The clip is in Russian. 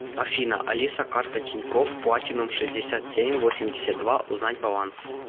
афина алиса карта тинькофф платинум шестьдесят семь восемьдесят два узнать баланс